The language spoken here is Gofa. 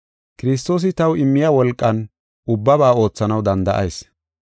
Kiristoosi taw immiya wolqan ubbaba oothanaw danda7ayis.